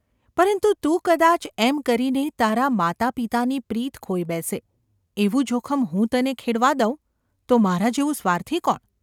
પરંતુ તું કદાચ એમ કરીને તારાં માતાપિતાની પ્રીત ખોઈ બેસે એવું જોખમ હું તને ખેડવા દઉં તો મારા જેવું સ્વાર્થી કોણ?